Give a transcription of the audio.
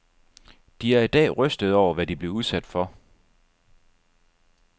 De er i dag rystede over, hvad de blev udsat for.